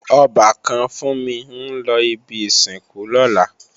Ọbàkan Fúnmi ń lọ ibi ìsìnkú lọ́la